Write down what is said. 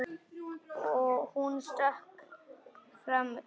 Hún stökk fram í gang.